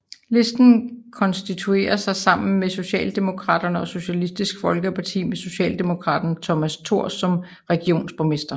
Listen konstituerede sig sammen med Socialdemokraterne og Socialistisk Folkeparti med socialdemokraten Thomas Thors som regionsborgmester